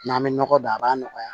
N'an bɛ nɔgɔ don a b'a nɔgɔya